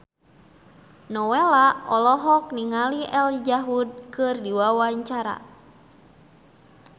Nowela olohok ningali Elijah Wood keur diwawancara